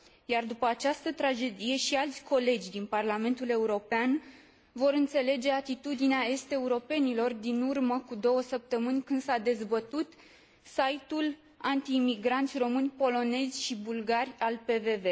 Iar după această tragedie și alți colegi din Parlamentul European vor înțelege atitudinea est europenilor din urmă cu două săptămâni, când s a dezbătut site ul anti imigranți români, polonezi și bulgari al PVV.